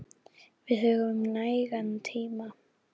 Við höfum nægan tíma.